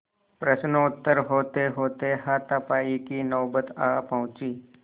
प्रश्नोत्तर होतेहोते हाथापाई की नौबत आ पहुँची